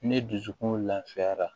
Ne dusukun lafiyara